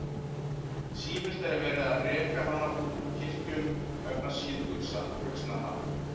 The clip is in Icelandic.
Sífellt er verið að reka hana út úr kirkjum vegna síðbuxnanna.